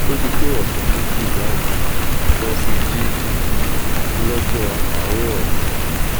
ó ti to ọsẹ méjì báyìí mo sì jí lọ́jọ́ àárọ̀ ọ̀sán